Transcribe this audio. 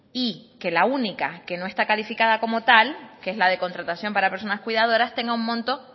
y que la única que no está calificada como tal que es la de contratación para personas cuidadoras tenga un monto